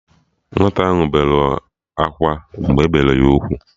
Nwata ahụ eberọ akwa mgbe ebere ya ugwu